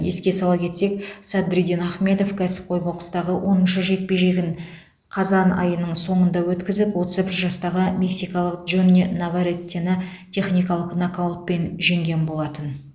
еске сала кетсек садриддин ахмедов кәсіпқой бокстағы оныншы жекпе жегін қазан айының соңында өткізіп отыз бір жастағы мексикалық джонни наварретені техникалық нокаутпен жеңген болатын